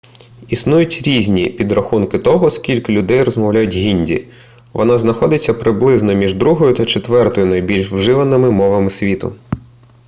існують різні підрахунки того скільки людей розмовляє гінді вона знаходиться приблизно між другою та четвертою найбільш вживаними мовами у світі